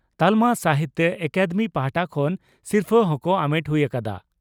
ᱛᱟᱞᱢᱟ ᱥᱟᱦᱤᱛᱭᱚ ᱟᱠᱟᱫᱮᱢᱤ ᱯᱟᱦᱴᱟ ᱠᱷᱚᱱ ᱥᱤᱨᱯᱷᱟᱹ ᱦᱚᱸᱠᱚ ᱟᱢᱮᱴ ᱦᱩᱭ ᱟᱠᱟᱫᱼᱟ ᱾